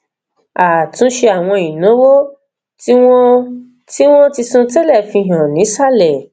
àtúnṣe àwọn ìnáwó tí wọn ti wọn ti san tẹlẹ fi hàn nísàlẹ